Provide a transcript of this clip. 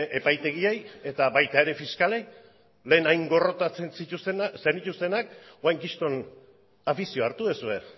epaitegiei eta baita ere fiskalei lehen hain gorrotatzen zenituztenak orain kriston afizioa hartu duzue